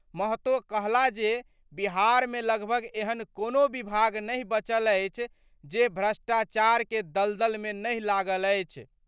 महतो कहला जे बिहार मे लगभग एहन कोनो विभाग नहि बचल अछि जे भ्रष्टाचार के दलदल मे नहि लागल अछि।